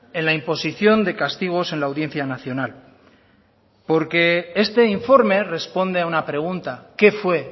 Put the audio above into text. en la imposición de castigos en la audiencia nacional porque este informe responde a una pregunta qué fue